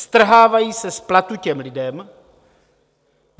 Strhávají se z platu těm lidem.